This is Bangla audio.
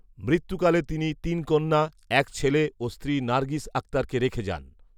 মৃত্যু কালে তিনি তিন কন্যা, এক ছেলে ও স্ত্রী নার্গিস আক্তারকে রেখে যান